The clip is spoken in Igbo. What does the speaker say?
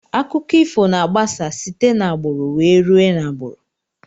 Akụkọ ifo na agbasa site na agburu wee rue na agburu.